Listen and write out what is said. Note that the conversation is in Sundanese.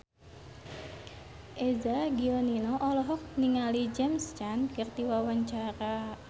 Eza Gionino olohok ningali James Caan keur diwawancara